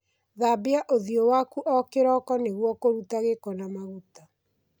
Thambia ũthiũĩ waku o kĩroko nĩguo kũruta gĩko na maguta.